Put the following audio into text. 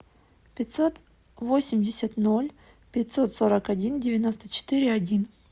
пятьсот восемьдесят ноль пятьсот сорок один девяносто четыре один